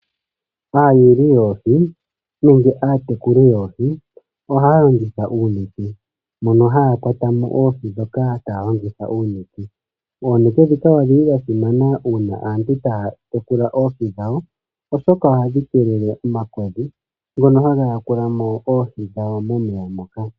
Aayuli yoohi nenge aatekuli yoohi ohaa longitha uunete mono haya kwata mo oohi dhoka taa longitha uunete .Oonete dhika odhili dha simana uuna aantu taa tekula oohi dhawo oshoka ohadhi keekele omakodhi ngoka haga ya kula mo oohi dhawo momeya moka .